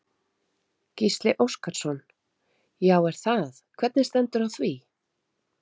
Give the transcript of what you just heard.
Gísli Óskarsson: Já er það, hvernig stendur á því?